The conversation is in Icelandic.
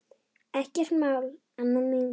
Ekkert mál, Anna mín.